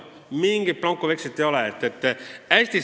Mingit blankovekslit ei ole!